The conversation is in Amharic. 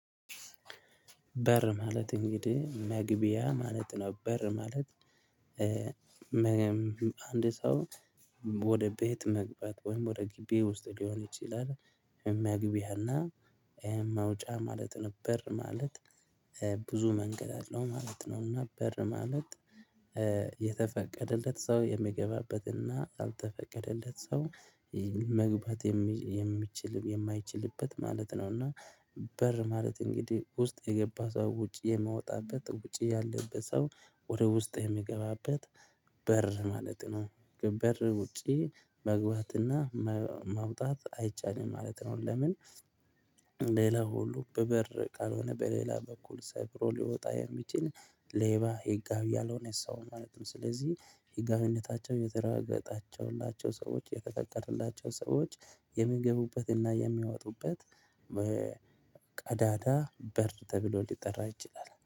በር ማለት እንግዲህ መግቢያ ማለት ነው። በር ማለት። አንድ ሰው ወደ ቤት መግባት ወይም ወደ ግቢ ውስጥ ሊሆን ይችላል። የሚያግቢ ያህል። መውጫ ማለት በር ማለት። ብዙ መንገድ አለው ማለት ነውና። በር ማለት። የተፈቀደለት ሰው የሚገባበትና ያልተፈቀደለት ሰው መግባት የሚችል የማይችልበት ማለት ነው። እና። በር ማለት እንግዲህ ውስጥ የገባ ሰው ውጭ የመውጣት ውጭ ያለበት ሰው ወደ ውስጥ የሚገባበት በር ማለት ነው። በር ውጪ መግባትና ማውጣት አይቻልም ማለት ነው። ለምን? ሌላ ሁሉ በበር ካልሆነ በሌላ በኩል ሰብሮ ሊወጣ የሚችል ሌባ ህጋዊ ያልሆነ ሰው ማለትም ስለዚህ ህጋዊነታቸው የተረጋገጣቸውላቸው ሰዎች የተጠቀረላቸው ሰዎች የሚገቡበትና የሚያወጡበት። ቀዳዳ በር ተብሎ ሊጠራ ይችላል